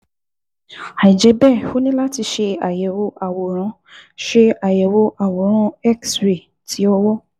Àìjẹ́ bẹ́ẹ̀, o ní láti ṣe àyẹ̀wò àwòrán ṣe àyẹ̀wò àwòrán X-ray ti ọwọ́